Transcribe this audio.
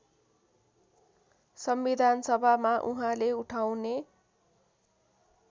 संविधानसभामा उहाँले उठाउने